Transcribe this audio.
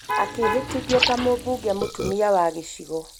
Akĩhĩtithio ta mũbunge mũtumia wa gĩchigo